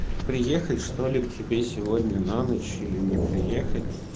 приехать что ли к тебе сегодня на ночь или не приехать